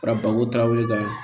Fara babu darawlu kan